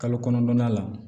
Kalo kɔnɔntɔn na la